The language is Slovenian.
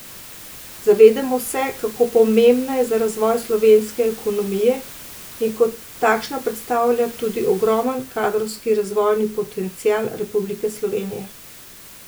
Zavedamo se, kako pomembna je za razvoj slovenske ekonomije in kot takšna predstavlja tudi ogromen kadrovski in razvojni potencial Republike Slovenije.